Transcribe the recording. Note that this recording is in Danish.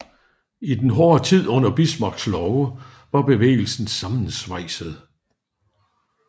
Efter den hårde tid under Bismarcks love var bevægelsen sammensvejset